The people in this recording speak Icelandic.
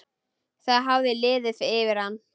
Það hafði liðið yfir hana!